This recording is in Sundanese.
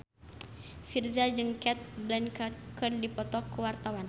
Virzha jeung Cate Blanchett keur dipoto ku wartawan